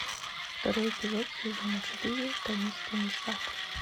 второй эпизод сезона четыре таинственный сад